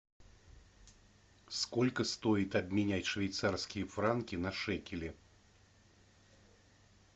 сколько стоит обменять швейцарские франки на шекели